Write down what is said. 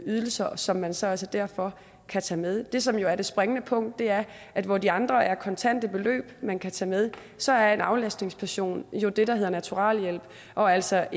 ydelser som man så altså derfor kan tage med det som jo er det springende punkt er at hvor de andre er kontante beløb man kan tage med så er en aflastningsperson jo det der hedder naturalhjælp og altså